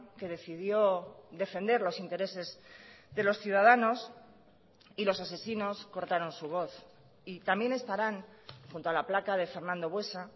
que decidió defender los intereses de los ciudadanos y los asesinos cortaron su voz y también estarán junto a la placa de fernando buesa